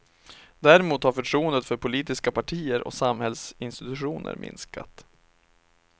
Däremot har förtroendet för politiska partier och samhällsinstitutioner minskat.